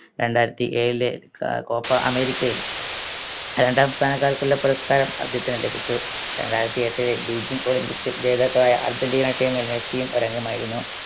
രണ്ടായിരത്തി ഏഴിലെ ക കോപ്പ അമേരിക്കയിൽ രണ്ടാം സ്ഥാനക്കാർക്കുള്ള പുരസ്‌കാരം അദ്ദേഹത്തിന് ലഭിച്ചു രണ്ടായിരത്തി എട്ടിൽ Beijing olympics ൽ ജേതാക്കളായ അർജന്റീന team ൽ മെസ്സിയും ഒരംഗമായിരുന്നു